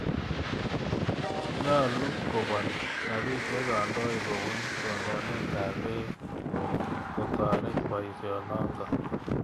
Nyalu kopol ropisyek kandoik kopun tononet ap peek kotoret poisyonotok.